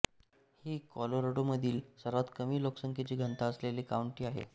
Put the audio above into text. ही कॉलोराडोमधील सर्वात कमी लोकसंख्येची घनता असलेली काउंटी आहे